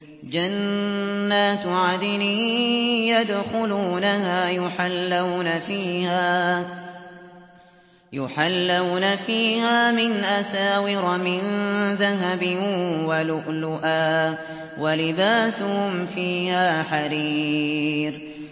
جَنَّاتُ عَدْنٍ يَدْخُلُونَهَا يُحَلَّوْنَ فِيهَا مِنْ أَسَاوِرَ مِن ذَهَبٍ وَلُؤْلُؤًا ۖ وَلِبَاسُهُمْ فِيهَا حَرِيرٌ